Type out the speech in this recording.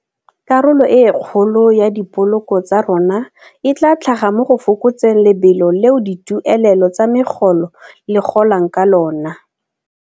Karolo e kgolo ya dipoloko tsa rona e tla tlhaga mo go fokotseng lebelo leo dituelelo tsa megolo le golang ka lona.